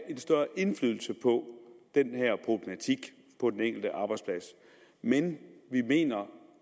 en større indflydelse på den her problematik på den enkelte arbejdsplads men vi mener